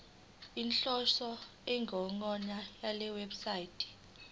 inhloso nenjongo yalewebsite